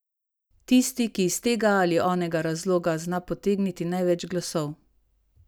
Tisti, ki iz tega ali onega razloga zna potegniti največ glasov.